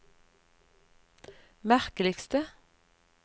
merkeligste